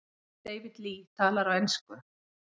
David Lee talar á ensku.